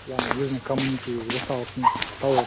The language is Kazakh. яғни өзінің комьюнити орталысын тауып алып